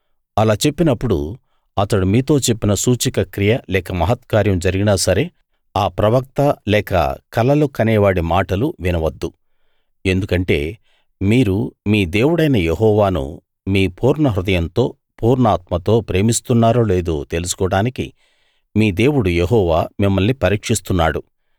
అలా చెప్పినప్పుడు అతడు మీతో చెప్పిన సూచక క్రియ లేక మహత్కార్యం జరిగినా సరే ఆ ప్రవక్త లేక కలలు కనేవాడి మాటలు వినవద్దు ఎందుకంటే మీరు మీ దేవుడైన యెహోవాను మీ పూర్ణ హృదయంతో పూర్ణాత్మతో ప్రేమిస్తున్నారో లేదో తెలుసుకోడానికి మీ దేవుడు యెహోవా మిమ్మల్ని పరీక్షిస్తున్నాడు